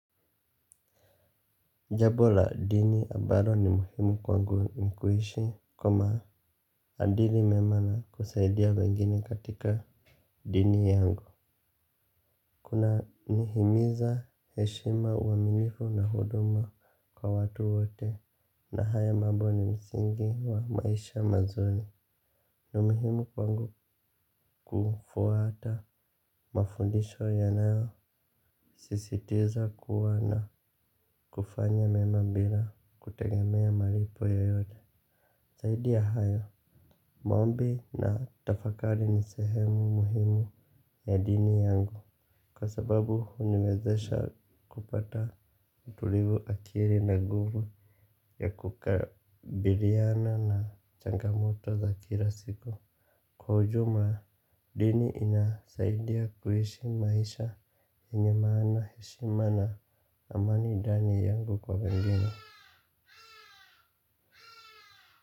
Jambo la dini ambalo ni muhimu kwangu ni kuishi kwa maadili mema na kusaidia wengine katika dini yangu. Kunanihimiza heshima, uaminifu na huduma kwa watu wote na haya mambo ni msingi wa maisha mazuri. Ni muhimu kwangu kufuata mafundisho yanayo sisitiza kuwa na kufanya mema bila kutegemea malipo yoyote. Zaidi ya hayo, moambi na tafakari ni sehemu muhimu ya dini yangu kwa sababu huniwezesha kupata utulivu akili na nguvu ya kukabiliana na changamoto za kila siku. Kwa ujuma, dini inasaidia kuishi maisha yenye maana, heshima na amani ndani yangu kwa wengine.